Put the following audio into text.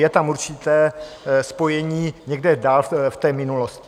Je tam určité spojení někde dál v té minulosti.